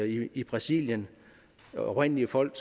i i brasilien det oprindelige folk